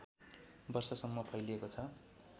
वर्षसम्म फैलिएको छ